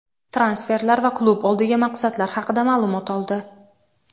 transferlar va klub oldiga maqsadlar haqida ma’lumot oldi.